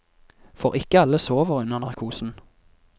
For ikke alle sover under narkosen.